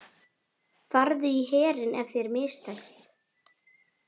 Farðu í herinn ef þér mistekst.